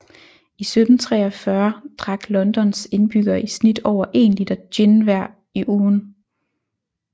I 1743 drak Londons indbyggere i snit over én liter gin hver i ugen